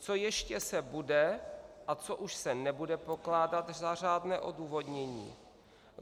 Co ještě se bude a co už se nebude pokládat za řádné odůvodnění?